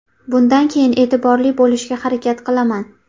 Bundan keyin e’tiborli bo‘lishga harakat qilaman.